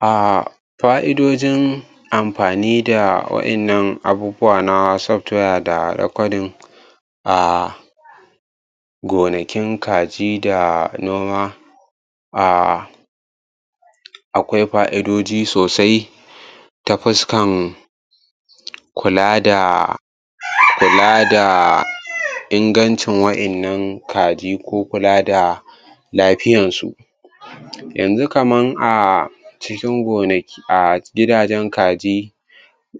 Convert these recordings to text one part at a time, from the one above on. A fa'idojin amfanin da wa'innan abubuwa na software da recording a gonakin kaji da noma a akwai fa'idoji sosai ta fuskan kula da kula da ingancin wa'innan ka ji ko kula da lafiyarsu yanzu kama a cikin gonaki a gidajen kaji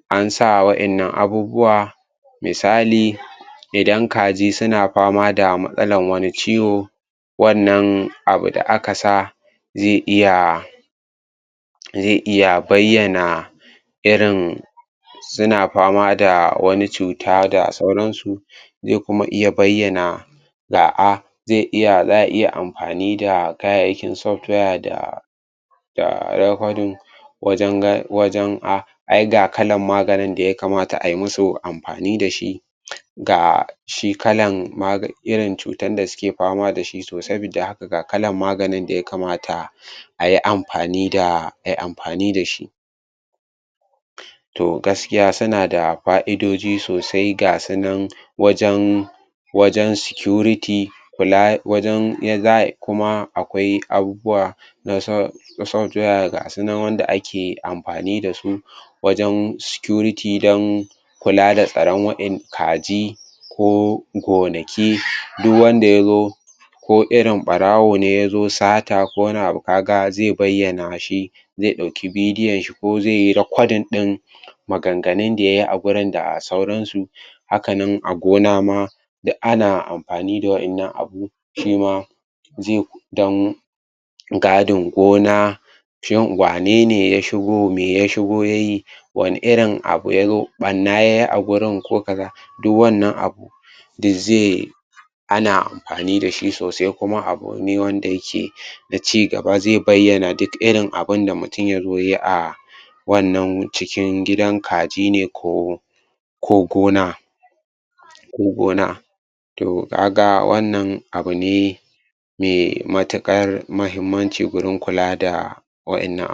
an sa wa'innan abubuwa misali idan kaji suna fama da matsalan wani ciwo wannan abu da aka sa zai iya zai iya bayyana irin suna fama da wani cuta da sauransu, zai kuma iya bayyana za a zai iya za a iya amfani da kayyayyakin software da da wajan ga wajen a ya ai ga kalar maganin da ya kamata ayi amfani da shi ga shi kalan maga irin cutar da suke fama da shi to sabida haka ga kalar maganin da yakamata ayi amfani da ai amfani da shi to gaskiya suna da fa'idoji sosai ga su nan wajen wajen security kula wajen yada za kuma akwai abubuwa nasu na software ga su nan wanda ake amfani da su wajen surity wajen kula da tsaron kaji ko gonaki duk wanda ya zo ko irin ɓarawo ne ya zo sata ko wani abu zai bayyana shi. zai ɗauki bidiyonshi ko zai yi recording ɗin maganganun da yai a wurin da sauransu haka nan a gona ma duk ana amfani da irin wa'innan abu shi ma don gadin gona shin wanene ya shigo me ya shigo ya yi wane irin abu ya yi shin ɓanna ya yi a gurin ko ka ga duk wannan abu duk zai ana amfani da shi sosai kuma abu ne wanda yake na ci gaba zai bayyana duk irin abin da mutum ya zo yayi a wannan cikin gidan kaji ne ko ko gona ko gona to ka ga wannan abu ne me matuƙar muhimmanci gurin kula da wa'innan